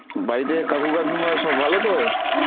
বাড়িতে কাকু কাকিমা সব ভালো তো?